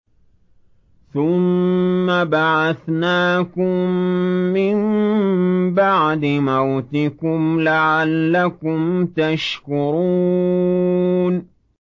ثُمَّ بَعَثْنَاكُم مِّن بَعْدِ مَوْتِكُمْ لَعَلَّكُمْ تَشْكُرُونَ